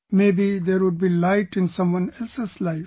Maybe there would be light in someone else's life